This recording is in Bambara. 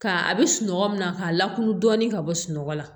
Ka a bɛ sunɔgɔ min na k'a lakuru dɔɔnin ka bɔ sunɔgɔ la